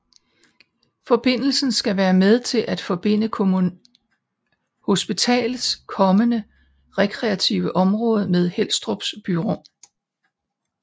Forbindelsen skal være med til at forbinde hospitalets kommende rekreative område med Helstrups byrum